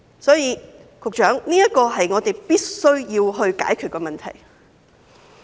所以，這是我們必須解決的問題。